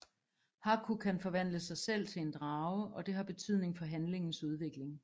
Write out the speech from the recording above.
Haku kan forvandle sig selv til en drage og det har betydning for handlingens udvikling